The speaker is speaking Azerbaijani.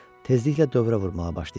Tezliklə dövrə vurmağa başlayacaq.